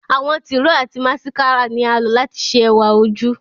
Àwọn tiro ati masikara ni a lo lati ṣe ẹwa oju